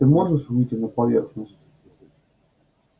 ты можешь выйти на поверхность